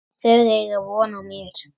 Þau eiga von á mér.